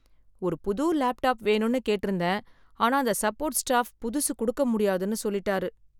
ஒரு புது லேப்டாப் வேணும்னு கேட்டிருந்தேன் ஆனா அந்த சப்போர்ட் ஸ்டாஃப் புதுசு கொடுக்க முடியாதுன்னு சொல்லிட்டாரு .